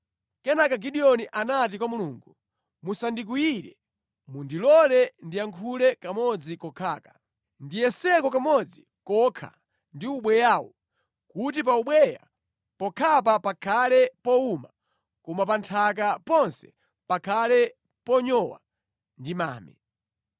Kenaka Gideoni anati kwa Mulungu, “Musandikwiyire. Mundilole ndiyankhule kamodzi kokhaka. Ndiyeseko kamodzi kokha ndi ubweyawu kuti pa ubweya pokhapa pakhale powuma koma pa nthaka ponse pakhale ponyowa ndi mame.”